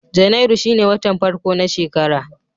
Janairu shine watan farko na shekara.